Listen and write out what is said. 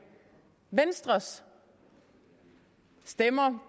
venstres stemmer